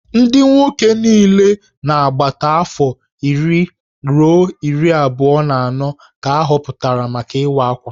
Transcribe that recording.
Ndị nwoke niile nọ n'agbata afọ iri ruo iri abụọ na anọ ka ahọpụtara maka Ịwa Akwa